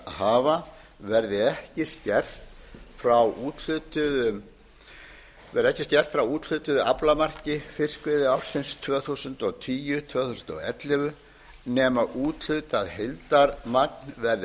hlutdeildarhafa verði ekki skert frá úthlutuðu aflamarki fiskveiðiársins tvö þúsund og tíu til tvö þúsund og ellefu nema úthlutað heildarmagn verði